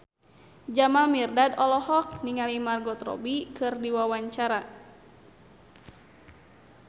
Jamal Mirdad olohok ningali Margot Robbie keur diwawancara